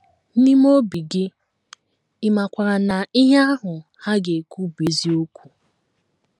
N’ime obi gị, ị makwaara na ihe ahụ ha ga - ekwu bụ eziokwu.